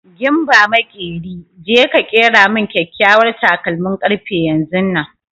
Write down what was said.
Gimba maƙeri, je ka ƙera min kyakyawar takalmin ƙarfe yanzunnan!